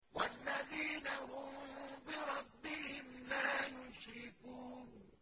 وَالَّذِينَ هُم بِرَبِّهِمْ لَا يُشْرِكُونَ